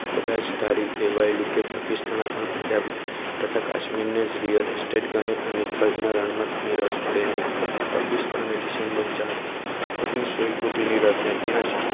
કદાચ ધારી લેવાયું કે પાકિસ્તાન આપણા પંજાબ તથા કાશ્મીરન real estate ગણી અને થરના રણમાં થઈને પાકિસ્તાને ડિસેમ્બર ચાર ઓગણીસો ઈકોતેર ની રાત્રે ત્યાં જ